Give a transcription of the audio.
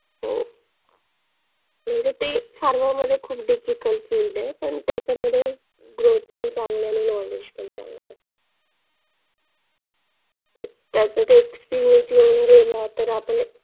motivational lecture वगैरे असतात. आमचे सर आम्हाला ये ना म्हणजे आम्हाला गणित बुद्धिमत्ता GK सगळं शिकवतात.